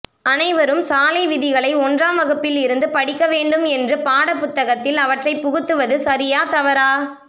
அனைவரும் சாலை விதிகளை ஒன்றாம் வகுப்பில் இருந்து படிக்க வேண்டும் என்று பாட புததகத்தில் அவற்றை புகுத்துவது சரியா தவறா